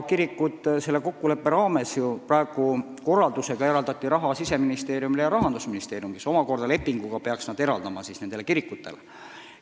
Praegu eraldati korraldusega raha Siseministeeriumile ja Rahandusministeeriumile, kes peaksid need omakorda lepingu alusel eraldama nendele kirikutele.